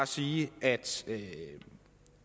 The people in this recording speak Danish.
sige at